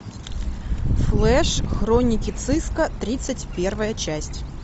флэш хроники циско тридцать первая часть